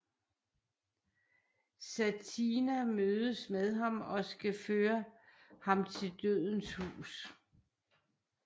Satina mødes med ham og skal føre ham til Dødens hus